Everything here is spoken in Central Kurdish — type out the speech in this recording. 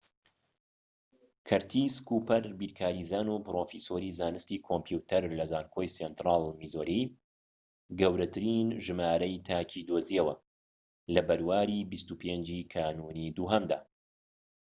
کەرتیس کووپەر، بیرکاریزان و پرۆفیسۆری زانستی کۆمپیوتەر لە زانکۆی سێنترال میزۆری، گەورەترین ژمارەی تاکی دۆزیەوە، لە بەرواری ٢٥ ی کانونی دووهەمدا